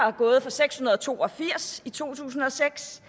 er gået fra seks hundrede og to og firs i to tusind og seks